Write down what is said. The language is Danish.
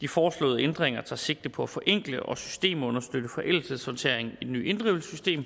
de foreslåede ændringer tager sigte på at forenkle og systemunderstøtte forældelsessorteringen i det nye inddrivelsessystem